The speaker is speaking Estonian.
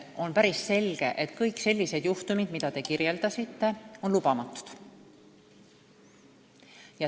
On päris selge, et kõik sellised juhtumid, mida te kirjeldasite, on lubamatud.